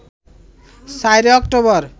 ৪ October